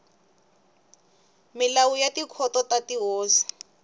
milawu ya tikhoto ta tihosi